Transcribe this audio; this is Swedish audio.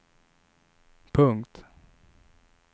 punkt